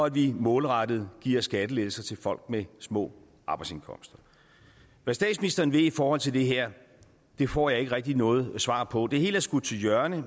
at vi målrettet giver skattelettelser til folk med små arbejdsindkomster hvad statsministeren vil i forhold til det her får jeg ikke rigtig noget svar på det hele er skudt til hjørne